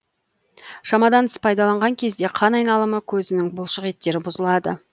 шамадан тыс пайдаланған кезде қан айналымы көзінің бұлшық еттері бұзылады